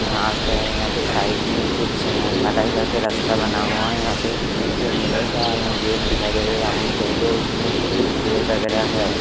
घास है यहां पे साइड में कुछ ढलाई करके रास्ता बना हुआ यहां पे एक लुगाई का गेट दिखाई दे रहा है राउंड करके उसमे भी कुछ पेड़ वगेरा है ।